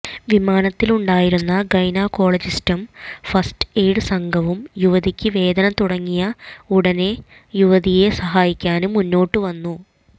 വിമാനത്തിലുണ്ടായിരുന്ന ഗൈനക്കോളജിസ്റ്റും first aid സംഘവും യുവതിക്ക് വേദന തുടങ്ങിയ ഉടന് യുവതിയെ സഹായിക്കാന് മുന്നോട്ടുവന്നു